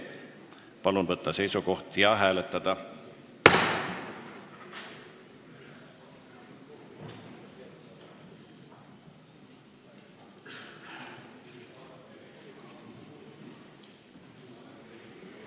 Palun võtta seisukoht ja hääletada!